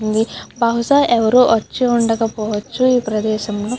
బహుశా ఎవరు వచ్చి ఉండక పొవచ్చు ఈ ప్రదేశంలో.